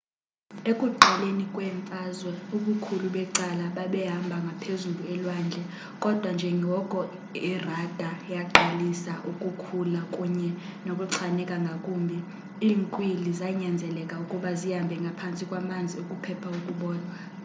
ekuqaleni kwemfazwe ubukhulu becala babehamba ngaphezulu elwandle kodwa njengoko irada yaqalisa ukukhula kunye nokuchaneka ngakumbi iinkwili zanyanzeleka ukuba zihambe ngaphantsi kwamanzi ukuphepha ukubonwa